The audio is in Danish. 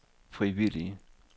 frivillige